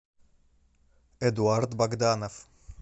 эдуард богданов